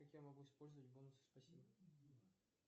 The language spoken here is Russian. как я могу использовать бонусы спасибо